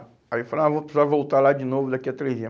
Aí eu falei, ah vou precisar voltar lá de novo daqui a três dias.